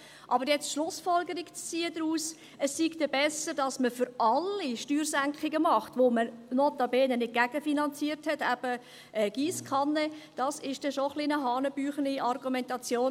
Aber nun daraus die Schlussfolgerung zu ziehen, dass es besser wäre, für alle Steuersenkungen zu machen, welche man notabene nicht gegenfinanziert – eben Giesskanne –, das ist dann schon eine etwas hanebüchene Argumentation.